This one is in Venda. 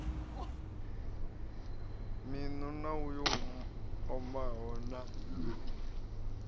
miṋu na yo omaho na